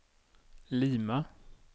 Lima